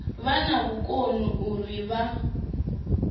vha na vhukoni uri vha